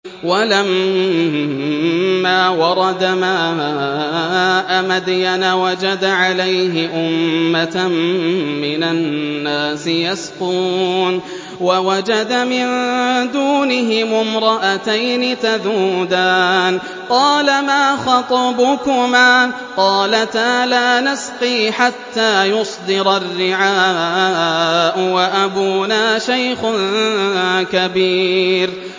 وَلَمَّا وَرَدَ مَاءَ مَدْيَنَ وَجَدَ عَلَيْهِ أُمَّةً مِّنَ النَّاسِ يَسْقُونَ وَوَجَدَ مِن دُونِهِمُ امْرَأَتَيْنِ تَذُودَانِ ۖ قَالَ مَا خَطْبُكُمَا ۖ قَالَتَا لَا نَسْقِي حَتَّىٰ يُصْدِرَ الرِّعَاءُ ۖ وَأَبُونَا شَيْخٌ كَبِيرٌ